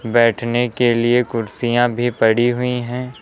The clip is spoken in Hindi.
बैठने के लिए कुर्सियां भी पड़ी हुई हैं।